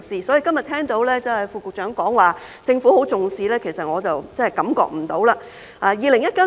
所以，今天聽到副局長表示政府十分重視，其實我真的感覺不到。